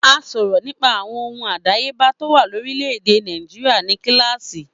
A sọ̀rọ̀ nípa àwọn ohun àdáyébá tó wà ní orílẹ̀-èdè Nàìjíríà ní kíláàsì.